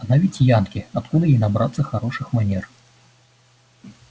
она ведь янки откуда ей набраться хороших манер